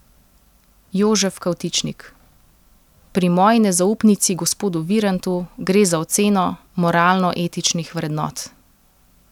Jožef Kavtičnik: 'Pri moji nezaupnici gospodu Virantu gre za oceno moralno etičnih vrednot.